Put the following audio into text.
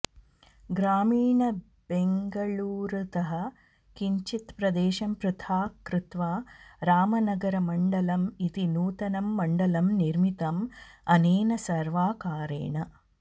ग्रामीणबेङ्गळूरुतः किञ्चित्प्रदेशं पृथाक् कृत्वा रामनगरमण्डलम् इति नूतनं मण्डलं निर्मितं अनेन सर्वाकारेण